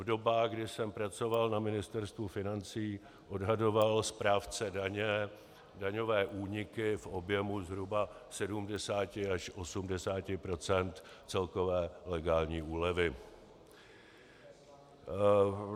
V dobách, kdy jsem pracoval na Ministerstvu financí, odhadoval správce daně daňové úniky v objemu zhruba 70 až 80 % celkové legální úlevy.